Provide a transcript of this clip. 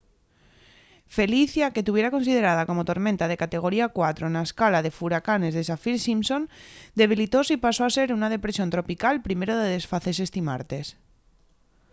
felicia que tuviera considerada como tormenta de categoría 4 na escala de furacanes de saffir-simpson debilitóse y pasó a ser una depresión tropical primero de desfacese esti martes